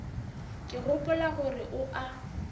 ke gopola gore o a